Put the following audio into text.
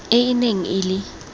e e neng e le